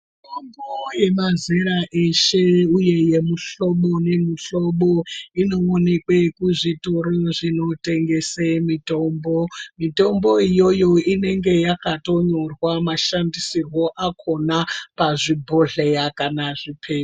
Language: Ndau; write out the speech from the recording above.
Mitombo yemazera eshe uye yemihlobo nemihlobo, inoonekwe kuzvitoro zvinotengesa mitombo Mitombo iyoyo inenge yakatonyorwa mashandisirwo akhona pazvibhodhleya kana zviphepa.